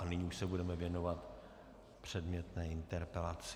A nyní už se budeme věnovat předmětné interpelaci.